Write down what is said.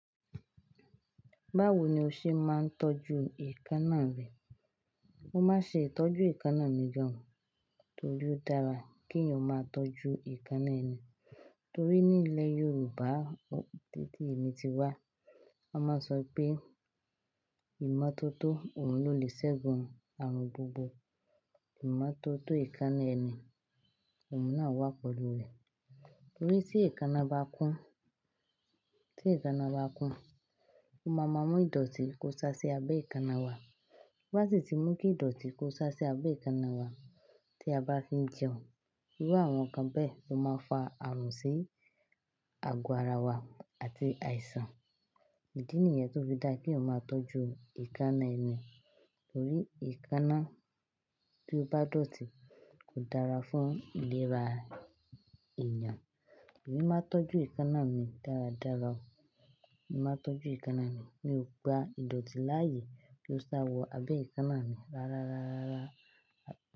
Báwo ni o ṣe máa ń tọ́jú èékánná rẹ? Mo máa ń ṣe ìtọ́jú èékánná mi gan, torí ó dára kí èèyàn máa tọ́jú èékánná ẹni. Torí ní ilẹ̀ Yorùbá títí èmi ti wá, a máa ń sọ pé ìmọ́tótó òun ló lè ṣẹ́gun àrùn gbogbo. Ìmọ́tótó èékánná ẹni, òun náà wà pẹ̀lú rẹ̀. Torí tí èékánná bá kún, tí èékánná bá kún, o máa ma mú ìdọ̀tí kó sá sí abẹ́ èékánná wa. Básì ti mú kí ìdọ̀tí kó sá sí abẹ́ èékánná wa tí a bá fi ń jẹun, irú àwọn nǹkan bẹ́ẹ̀ ó máa ń fa àrùn sí àgọ-ara wa àti àìsàn. Ìdí nìyẹn tó fi dá kí èèyàn máa tọ́jú èékánná ẹni. Torí èékánná tí ó bá dọ̀tí kò dára fún ìlera èèyàn. Èmi máa ń tọ́jú èékánná mi dáradára. Èmi máa ń tọ́jú èékánná mi, mi ò gba ìdọ̀tí láàyè kí ó sá wọ abẹ́ èékánná mi rárárárárá.